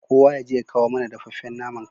Kowa yaje ya kawo mana dafaffen naman kai